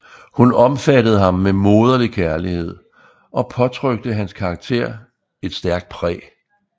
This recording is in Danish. Hun omfattede ham med moderlig kærlighed og påtrykte hans karakter et stærkt præg